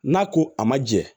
N'a ko a ma jɛ